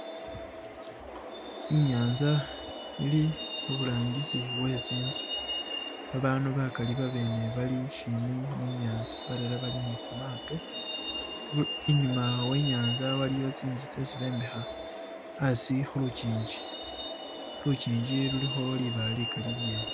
Inyatsa ili haburangisi we tsinzu babandu bakhali babene bali shimbi ni inyatsa balala bali ni khumato inyuma wenyantsa waliyo tsinzu tsesi bembekha hasi khulujinji lujinji lulikho libaale likhali lilyene